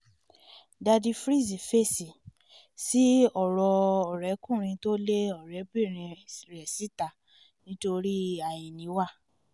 daddy freeze fèsì sí ọ̀rọ̀ ọ̀rẹ́kùnrin tó lé ọ̀rẹ́bìnrin rẹ̀ síta nítorí àìníwá